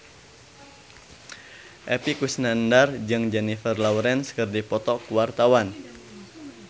Epy Kusnandar jeung Jennifer Lawrence keur dipoto ku wartawan